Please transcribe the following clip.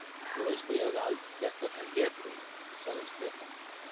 Þú veist að ég hefði aldrei gert þetta edrú, sagði Stefán.